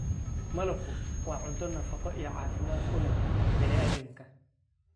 Malabku waa cunto nafaqo iyo caafimaad u leh bani aadamka.